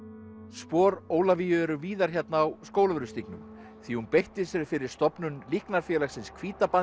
spor Ólafíu eru víðar hérna á Skólavörðustígnum því hún beitti sér fyrir stofnun líknarfélagsins